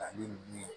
Ani